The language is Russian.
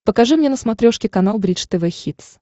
покажи мне на смотрешке канал бридж тв хитс